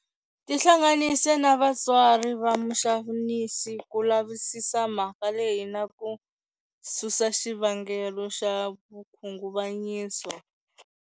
Tihlanganise na vatswari va muxanisi ku lavisisa mhaka leyi na ku susa xivangelo xa vukhunguvanyiso.